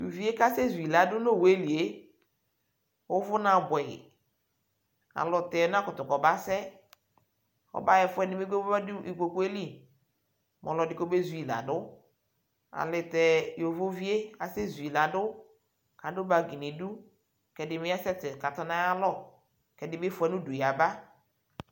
Tʋ uvi yɛ kʋ asɛzu yɩ la dʋ nʋ owu yɛ li yɛ, ʋvʋ na bʋɛ yɩ Alɔtɛ ɔnakʋtʋ kɔmasɛ Ɔmaɣa ɛfʋ ɛdɩ kpekpe mɛ ɔmadʋ ikpoku yɛ li, mɛ ɔlɔdɩ kɔmezu yɩ la dʋ Ayɛlʋtɛ yovovi yɛ asɛzu yɩ la dʋ kʋ adʋ bagi nʋ idu Kʋ ɛdɩ bɩ asɛsɛ kʋ atɔ nʋ ayalɔ kʋ ɛdɩ bɩ fʋa nʋ udu yaba